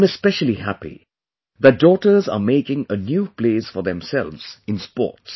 I am especially happy that daughters are making a new place for themselves in sports